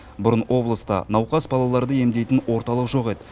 бұрын облыста науқас балаларды емдейтін орталық жоқ еді